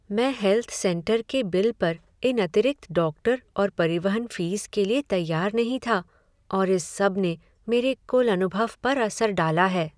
मैं health centre के bill पर इन अतिरिक्त डॉक्टर और परिवहन फीस के लिए तैयार नहीं था, और इस सबने मेरे कुल अनुभव पर असर डाला है।